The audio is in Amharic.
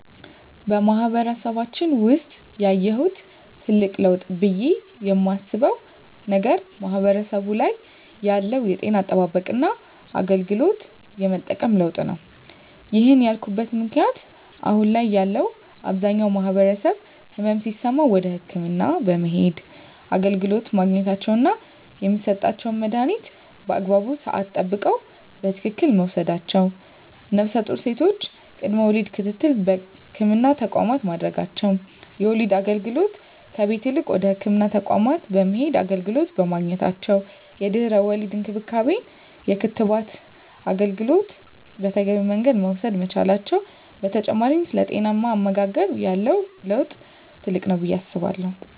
በማህበረሰባችን ውሰጥ ያየሁት ትልቅ ለውጥ ብየ የማስበው ነገር ማህበረሰቡ ላይ ያለው የጤና አጠባበቅና አገልግሎት የመጠቀም ለውጥ ነው። ይህን ያልኩበት ምክንያት አሁን ላይ ያለው አብዛኛው ማህበረሰብ ህመም ሲሰማው ወደ ህክምና በመሄድ አገልግሎት ማግኘታቸውና የሚሰጣቸውን መድሀኒት በአግባቡ ስዓት ጠብቀው በትክክል መውሰዳቸው ነፍሰጡር ሴቶች ቅድመ ወሊድ ክትትል በህክምና ተቋማት ማድረጋቸው የወሊድ አገልግሎት ከቤት ይልቅ ወደ ህክምና ተቋማት በመሄድ አገልግሎት በማግኘታቸው የድህረ ወሊድ እንክብካቤና የክትባት አገልግሎት በተገቢው መንገድ መውሰድ መቻላቸው በተጨማሪ ስለ ጤናማ አመጋገብ ያለው ለውጥ ትልቅ ነው ብየ አስባለሁ።